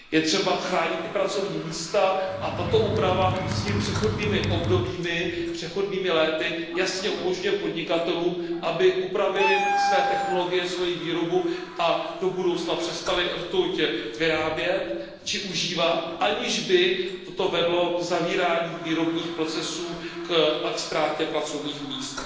Je třeba chránit i pracovní místa a tato úprava svými přechodnými obdobími jasně umožňuje podnikatelům, aby upravili své technologie, svoji výrobu a do budoucna přestali rtuť vyrábět či užívat, aniž by toto vedlo k zavírání výrobních procesů a ke ztrátě pracovních míst.